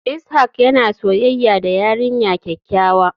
Ishak yana soyayya da yarinya kyakkyawa.